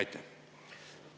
Aitäh!